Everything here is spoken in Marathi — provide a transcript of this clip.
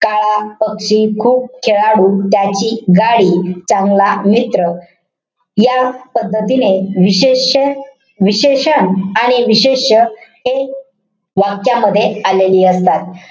काळा पक्षी. खूप खेळाडू. त्याची गाडी. चांगला मित्र. या पद्धतीने विशेष्य विशेषण आणि विशेष्य हे वाक्यामध्ये आलेली असतात.